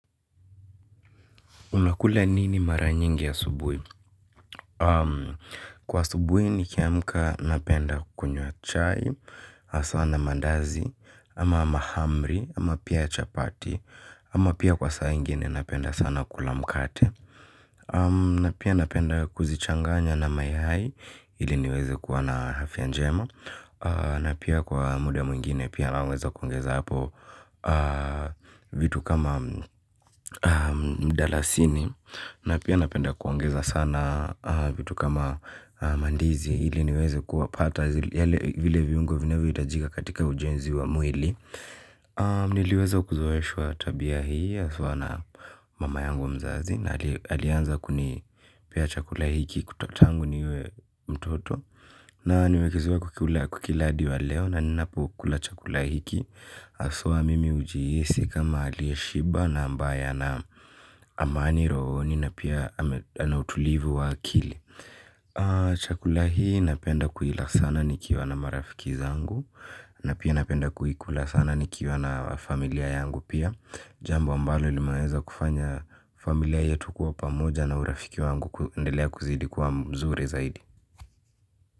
Unakula nini mara nyingi asubuhi? Kwa asubuhi nikiamka napenda kunywa chai hasa na mandazi ama mahamri ama pia chapati ama pia kwa saa ingine napenda sana kula mkate. Na pia napenda kuzichanganya na mayai, ili niweze kuwa na afya njema. Na pia kwa muda mwingine pia naweza kuongeza hapo vitu kama mdalasini. Na pia napenda kuongeza sana vitu kama mandizi ili niweze kuwapata. Vile viungo vinavyohitajika katika ujenzi wa mwili. Niliweza kuzoeshwa tabia hii haswa na mama yangu mzazi. Na alianza kuni pea chakula hiki kutotangu niwe mtoto. Na nimekizoea kukila hadi wa leo na ninapu kula chakula hiki haswa mimi hujiyesi kama aliye shiba na ambaya ana amani rohoni na pia anautulivu wa akili. Chakula hii napenda kuila sana nikiwa na marafiki zangu. Na pia napenda kuikula sana nikiwa na familia yangu pia. Jambo ambalo linaweza kufanya familia yetu kuwa pamoja na urafiki wangu kundelea kuzidi kuwa mzuri zaidi.